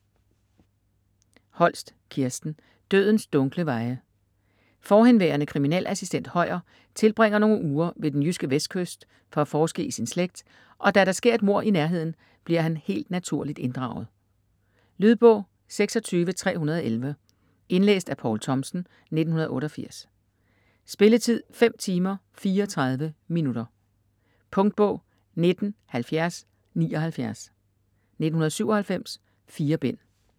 Holst, Kirsten: Dødens dunkle veje Fhv. kriminalassistent Høyer tilbringer nogle uger ved den jyske vestkyst for at forske i sin slægt, og da der sker et mord i nærheden, bliver han helt naturligt inddraget. Lydbog 26311 Indlæst af Poul Thomsen, 1988. Spilletid: 5 timer, 34 minutter. Punktbog 197079 1997. 4 bind.